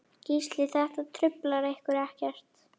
Gísli: Þetta truflar ykkur ekkert?